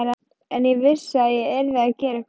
En ég vissi að ég yrði að gera eitthvað.